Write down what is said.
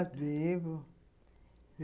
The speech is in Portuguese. Vivo.